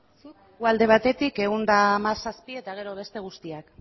zuk guk alde batetik ehun eta hamazazpi eta gero beste guztiak